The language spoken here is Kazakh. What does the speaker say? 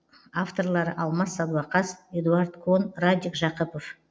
авторлары алмас садуақас эдуарад кон радик жақыпов